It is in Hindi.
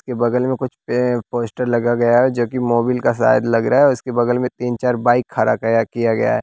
इसके बगल में कुछ पे पोस्टर लगा गया है जो कि मोबिल का शायद लग रहा है उसके बगल में तीन चार बाइक खड़ा गया किया गया हैं।